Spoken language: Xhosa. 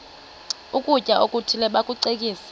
ukutya okuthile bakucekise